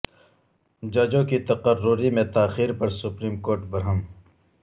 ججوں کی تقرری میں تاخیر پر سپریم کورٹ برہم